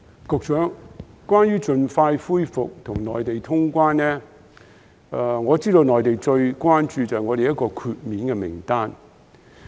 局長，關於盡快恢復與內地通關，我知道內地最關注香港的檢疫豁免名單。